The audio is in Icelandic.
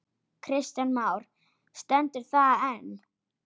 Kristján Már: Stendur það enn?